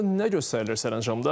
Nə göstərilir sərəncamda?